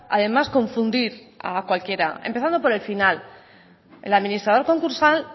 además confundir a cualquiera empezando por el final el administrador concursal